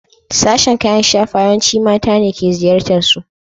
Sashen kayan shafawa yawanci mata ne ke ziyartarsu.